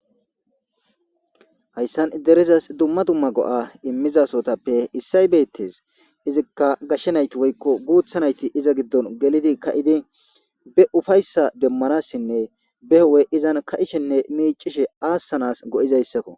hayssan iderizas dumma dumma go7a immizasotappe issay beettes izikka gashshenayti woykko guutha nayti iza giddon gelidi ka7idi be ufayssa demmanassinne behowe izan ka7ishenne miicishe aassanas go7izayssakko